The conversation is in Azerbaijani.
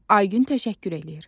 Ay gün təşəkkür eləyir.